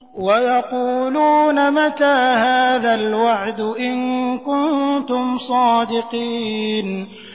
وَيَقُولُونَ مَتَىٰ هَٰذَا الْوَعْدُ إِن كُنتُمْ صَادِقِينَ